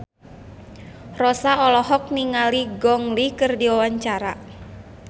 Rossa olohok ningali Gong Li keur diwawancara